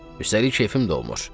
Üstəlik keyfim də olmur.